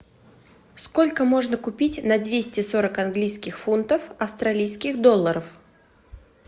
сколько можно купить на двести сорок английских фунтов австралийских долларов